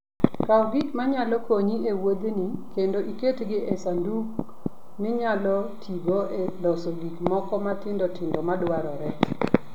Kaw gik manyalo konyi e wuodheni, kendo iketgi e sanduk minyalo tigo e loso gik moko matindo tindo madwarore.